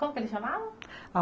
Como que eles chamavam?